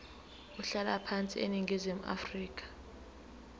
umhlalaphansi eningizimu afrika